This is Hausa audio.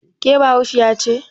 Ke bayahudiya ce?